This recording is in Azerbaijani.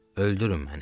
Öldürün məni.